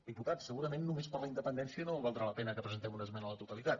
diputats segurament només per la independèn·cia no valdrà la pena que presentem una esmena a la totalitat